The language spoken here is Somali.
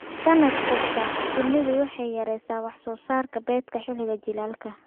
Sannad kasta, shinnidu waxay yaraysaa wax soo saarka beedka xilliga jiilaalka.